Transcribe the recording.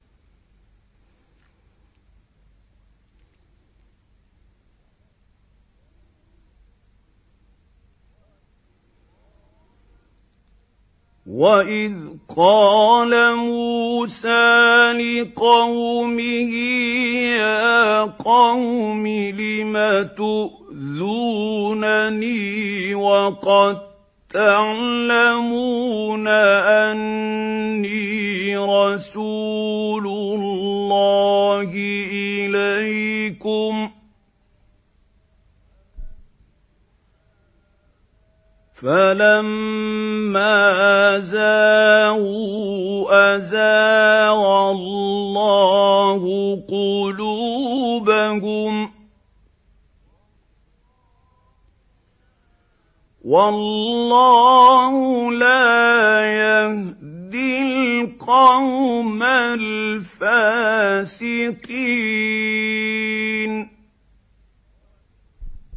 وَإِذْ قَالَ مُوسَىٰ لِقَوْمِهِ يَا قَوْمِ لِمَ تُؤْذُونَنِي وَقَد تَّعْلَمُونَ أَنِّي رَسُولُ اللَّهِ إِلَيْكُمْ ۖ فَلَمَّا زَاغُوا أَزَاغَ اللَّهُ قُلُوبَهُمْ ۚ وَاللَّهُ لَا يَهْدِي الْقَوْمَ الْفَاسِقِينَ